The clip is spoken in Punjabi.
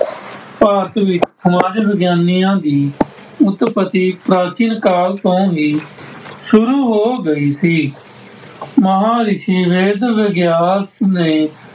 ਭਾਰਤ ਵਿੱਚ ਸਮਾਜ ਵਿਗਿਆਨੀਆਂ ਦੀ ਉਤਪਤੀ ਪ੍ਰਾਚੀਨ ਕਾਲ ਤੋਂ ਹੀ ਸ਼ੁਰੂ ਹੋ ਗਈ ਸੀ। ਮਹਾਂਰਿਸੀ ਵੈਦ ਵਿਗਿਆਲ ਨੇ